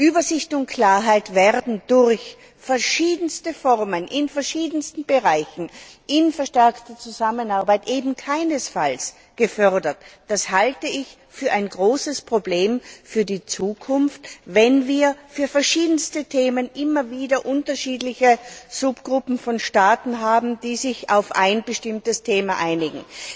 Übersicht und Klarheit werden durch verschiedenste Formen in verschiedensten Bereichen in verstärkter Zusammenarbeit eben keinesfalls gefördert. Ich halte es für ein großes Problem für die Zukunft, wenn bei den verschiedensten Themen immer wieder unterschiedliche Subgruppen von Staaten haben, die sich auf ein bestimmtes Thema einigen.